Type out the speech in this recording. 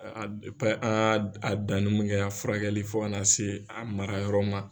an a danni min kɛ a furakɛli fo ka n'a se a mara yɔrɔ ma.